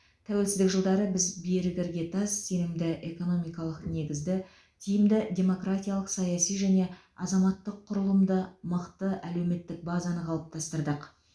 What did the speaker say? тәуелсіздік жылдары біз берік іргетас сенімді экономикалық негізді тиімді демократиялық саяси және азаматтық құрылымды мықты әлеуметтік базаны қалыптастырдық